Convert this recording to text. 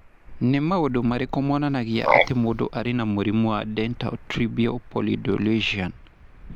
Nĩ maũndũ marĩkũ monanagia atĩ mũndũ arĩ na mũrimũ wa Dentatorubral pallidoluysian?